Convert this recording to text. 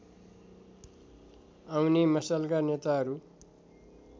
आउने मशालका नेताहरू